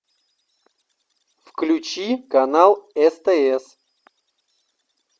включи канал стс